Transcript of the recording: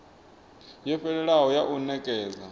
yo fhelelaho ya u nekedza